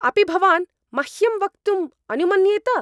अपि भवान् मह्यं वक्तुं अनुमन्येत?